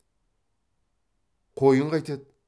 қойын қайтеді